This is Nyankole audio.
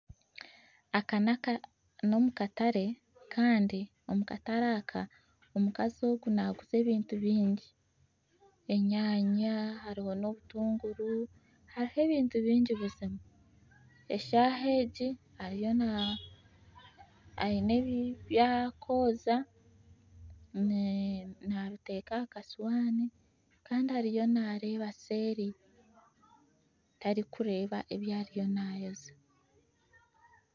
Aka nakatare nomu katare Kandi omukazi ogu naguza ebintu bingi enyanya hariho n'obutunguru hariho ebintu bingi buzima eshaaha egi ariyo aine ebi arikwozya nabiteeka ahakasuwani Kandi ariyo nareeba seeri tarikureeba ebyariyo naayozya